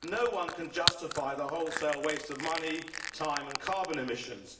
No one can justify the wholesale waste of money, time and carbon emissions.